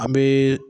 An bɛ